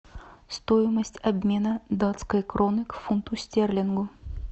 стоимость обмена датской кроны к фунту стерлингу